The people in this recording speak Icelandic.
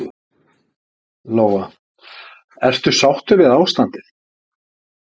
Lóa: Ertu sáttur við ástandið?